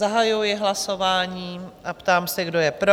Zahajuji hlasování a ptám se, kdo je pro?